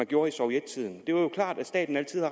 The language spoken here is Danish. gjorde i sovjettiden jo klart at staten altid